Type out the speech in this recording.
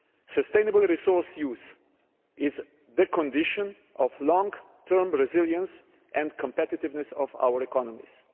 Sustainable resource use is the condition for the long term resilience and competitiveness of our economies.